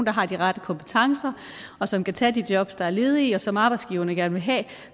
har de rette kompetencer og som kan tage de jobs der er ledige og som arbejdsgiverne gerne vil have